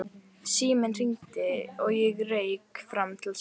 Síminn hringdi og ég rauk fram til að svara.